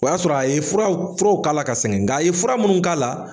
O y'a sɔrɔ a ye furaw furaw k'a la ka sɛŋɛn nk'a ye fura munnu k'a la